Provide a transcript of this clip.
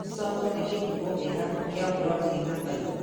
Mboco nĩ kĩhumo kĩega kia protĩini na faimba .